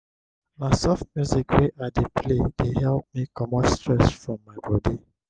na soft music wey i dey play dey help me comot stress from my bodi.